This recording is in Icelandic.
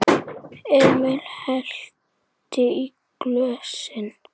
Emil hellti í glösin þeirra.